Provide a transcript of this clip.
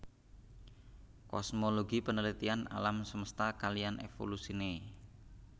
Kosmologi penelitian alam semesta kaliyan evolusine